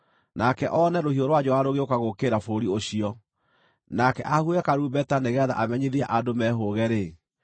nake one rũhiũ rwa njora rũgĩũka gũũkĩrĩra bũrũri ũcio, nake ahuhe karumbeta nĩgeetha amenyithie andũ mehũũge-rĩ,